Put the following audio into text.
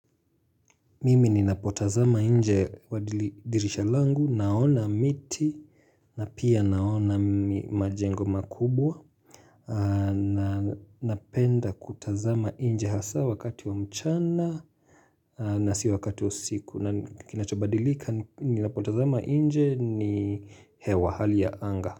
Mimi ninapotazama nje ya dirisha langu naona miti na pia naona majengo makubwa na napenda kutazama nje hasa wakati wa mchana na si wakati wa usiku na kinachabadilika ninapotazama nje ni hewa hali ya anga.